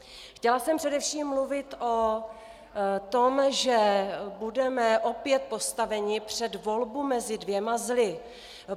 Chtěla jsem především mluvit o tom, že budeme opět postaveni před volbu mezi dvěma zly.